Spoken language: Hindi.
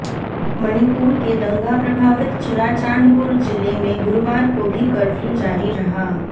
मणिपुर के दंगा प्रभावित चुराचांदपुर जिले में गुरूवार को भी कर्फ्यू जारी रहा